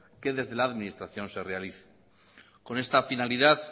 que desde la administración se realice con esta finalidad